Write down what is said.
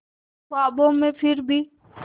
ख्वाबों में फिर भी